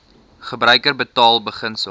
gebruiker betaal beginsel